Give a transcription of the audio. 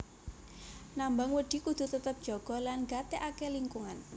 Nambang wedhi kudu tetep njaga lan gatèkaké lingkungan